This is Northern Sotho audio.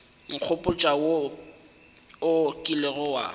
nkgopotša wo o kilego wa